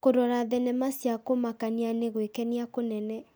Kũrora thenema cia kũmakania nĩ gwĩkenia kũnene.